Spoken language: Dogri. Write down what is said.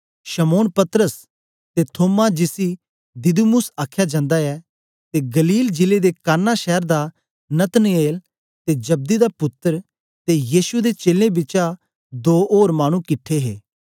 शमौन पतरस ते थोमा जिसी दिदुमुस आख्या जंदा ऐ ते गलील जिले दे काना शैर दा नतनएल ते जब्दी दा पुत्तर ते यीशु दे चेलें बिचा दो ओर मानु किट्ठे हे